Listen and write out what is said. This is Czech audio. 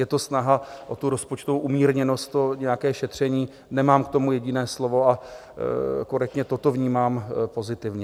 Je to snaha o tu rozpočtovou umírněnost, o nějaké šetření, nemám k tomu jediné slovo a korektně toto vnímám pozitivně.